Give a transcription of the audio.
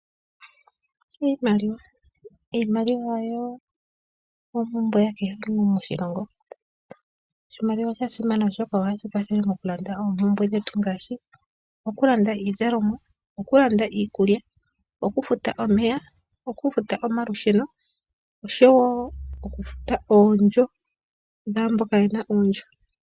Iimaliwa, iimaliwa oyo oompumbwe ya kehe gumwe moshilongo. Oshimaliwa osha simana oshoka ohashi kwathele moku landa oompumbwe dhetu ngaashi okulanda iizalomwa, okulanda iikulya, okufuta omeya, okufuta omalusheno, oshowo oku futa oondjo dhaamboka yena oondjo.